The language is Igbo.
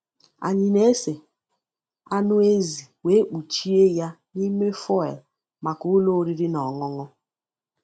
Anyị na-ese anụ ezi wee kpuchie ya n’ime foil maka ụlọ oriri na ọṅụṅụ.